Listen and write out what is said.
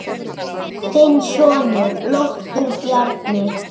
Þinn sonur, Loftur Bjarni.